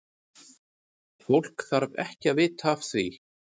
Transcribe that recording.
Fólk þarf ekki að vita af því.